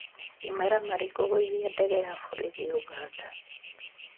Imaramari kũgũithia ndege ya borithi ũganda